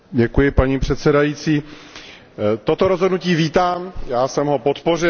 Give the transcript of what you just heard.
Paní předsedající, toto rozhodnutí vítám, já jsem ho podpořil.